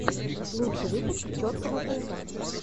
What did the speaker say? лучший выпуск чоткого паца